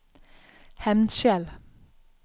Hemnskjel